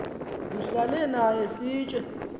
ndihlale naye sitye